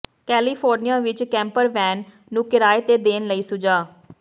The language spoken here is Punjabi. ਕੈਲੀਫੋਰਨੀਆ ਵਿੱਚ ਕੈਂਪਰ ਵੈਨ ਨੂੰ ਕਿਰਾਏ ਤੇ ਦੇਣ ਲਈ ਸੁਝਾਅ